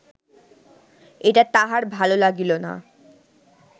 এটা তাহার ভাল লাগিল না